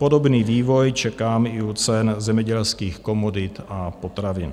Podobný vývoj čekám i u cen zemědělských komodit a potravin.